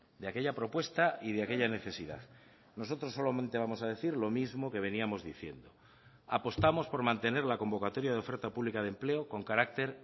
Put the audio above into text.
de aquella propuesta y de aquella necesidad nosotros solamente vamos a decir lo mismo que veníamos diciendo apostamos por mantener la convocatoria de oferta pública de empleo con carácter